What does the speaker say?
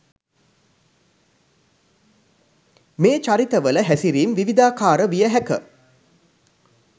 මේ චරිතවල හැසිරීම් විවිධාකාර විය හැක